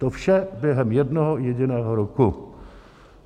To vše během jednoho jediného roku.